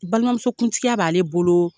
Balimamuso kuntigiya b'ale bolooo